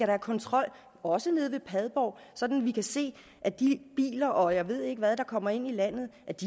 have kontrol også nede ved padborg sådan at vi kan se at de biler og jeg ved ikke hvad der kommer ind i landet